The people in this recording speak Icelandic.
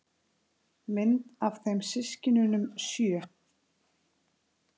Mynd af þeim systkinunum sjö.